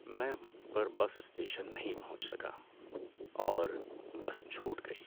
میں وقت پر بس اسٹیشن نہیں پہنچ سکا اور بس چھوٹ گئی۔